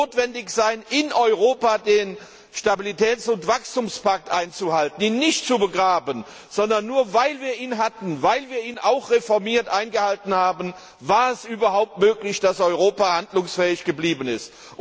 Es wird notwendig sein, in Europa den Stabilitäts und Wachstumspakt einzuhalten, ihn nicht zu begraben. Nur weil wir diesen Pakt hatten, weil wir ihn auch in reformierter Form eingehalten haben, war es überhaupt möglich, dass Europa handlungsfähig geblieben ist.